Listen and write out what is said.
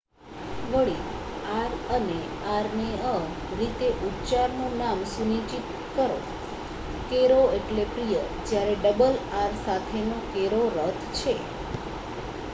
વળી આર અને આર્નેઅ રીતે ઉચ્ચારનું નામ સુનિશ્ચિત કરો કેરો એટલે પ્રિય જ્યારે ડબલ આર સાથેનો કેરો રથ છે